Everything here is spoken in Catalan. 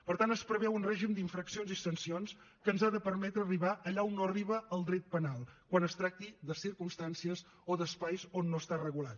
per tant es preveu un règim d’infraccions i sancions que ens ha de permetre arribar allà on no arriba el dret penal quan es tracti de circumstàncies o d’espais on no està regulat